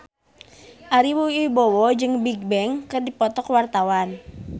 Ari Wibowo jeung Bigbang keur dipoto ku wartawan